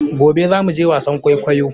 Gobe za mu je wasan kwaikoyon?